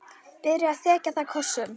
Byrjar að þekja það kossum.